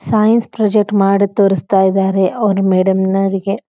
Since project ಮಾಡಿ ತೋರಿಸ್ತಿದಾರೆ ಅವರ ಮೇಡಮ್ ನವರಿಗೆ.